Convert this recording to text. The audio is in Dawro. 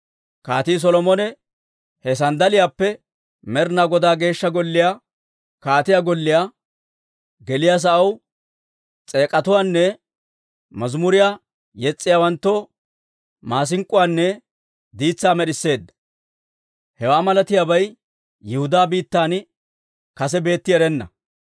Kaatii Solomone he sanddaliyaappe Med'inaa Godaa Geeshsha Golliyaa, kaatiyaa golliyaa geliyaa sa'aw diitsatuwaanne mazimuriyaa yes's'iyaawanttoo maasink'k'uwaanne diitsaa med'isseedda. Hewaa malatiyaabay Yihudaa biittan kase beetti erenna.)